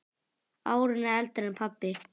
Árinu eldri en pabbi.